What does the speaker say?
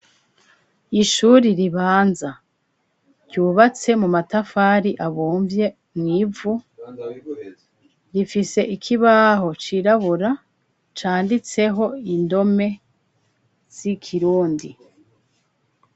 Ishuri ribanza, ryubatse mu matafari abomvye mw'ivu rifise ikibaho cirabura canditseho indome z'ikirundi.